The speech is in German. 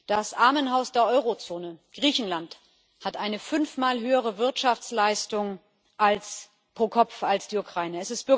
Das Armenhaus der Euro Zone, Griechenland, hat eine fünfmal höhere Wirtschaftsleistung pro Kopf als die Ukraine.